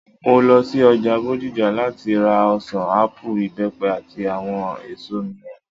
Mo lo sí ọjà Bódìjà láti ra ọ̀sàn, ápù, ìbẹ́pẹ, àti àwọn èso mìíràn